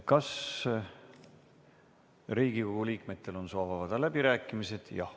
Kas Riigikogu liikmetel on soov avada läbirääkimised?